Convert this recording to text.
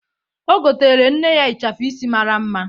O goteere nne ya ịchafụ isi mara mma.